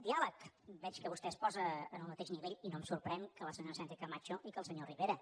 diàleg veig que vostè es posa en el mateix nivell i no em sorprèn que la senyora sánchezcamacho i que el senyor rivera